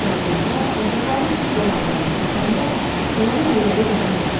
İsrafil ağa qaçaqların düz bərabərinə çatanda Kərəmin əlləri yanına düşdü.